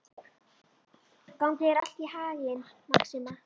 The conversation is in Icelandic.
Gangi þér allt í haginn, Maxima.